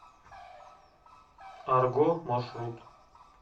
арго маршрут